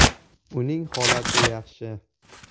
Uning holati yaxshi.